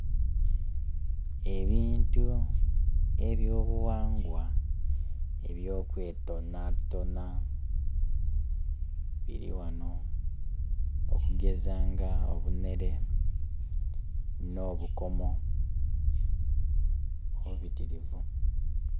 Ebintu eby'obughangwa eby'okwetonatona biri ghanho okugeza nga obunhere n'obukomo, bubitirivu.